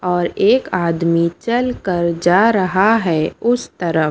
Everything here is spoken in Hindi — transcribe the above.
और एक आदमी चलकर जा रहा है उस तरफ--